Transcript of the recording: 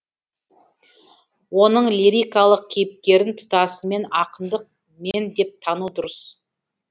оның лирикалық кейіпкерін тұтасымен ақындық мен деп тану дұрыс